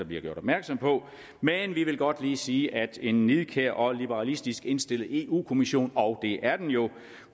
bliver gjort opmærksom på men vi vil godt lige sige at en nidkær og liberalistisk indstillet eu kommission og det er den jo